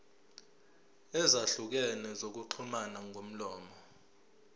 ezahlukene zokuxhumana ngomlomo